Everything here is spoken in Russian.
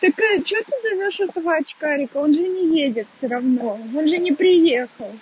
так что ты зовёшь этого очкарика он же не едет всё равно он же не приехал